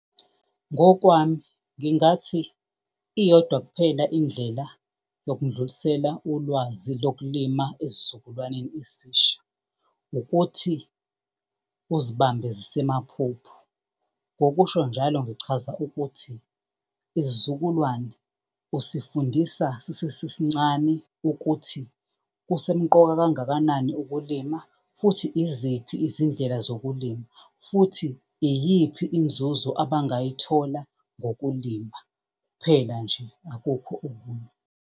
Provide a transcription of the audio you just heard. Ngokwami ngingathi iyodwa kuphela indlela yokundlulisela ulwazi lokulima esizukulwaneni esisha, ukuthi uzibambe zisemaphuphu. Ngokusho njalo ngichaza ukuthi isizukulwane usifundisa sisesesincane ukuthi kusemqoka kangakanani ukulima, futhi iziphi izindlela zokulima, futhi iyiphi inzuzo abangayithola ngokulima, kuphela nje akukho okunye.